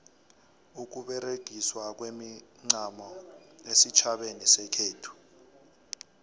ukuberegiswa kwemincamo esitjhabeni sekhethu